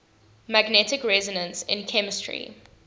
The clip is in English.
magnetic resonance in chemistry